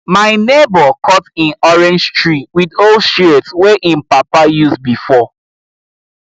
my neighbor cut him orange tree with old shears wey him papa use before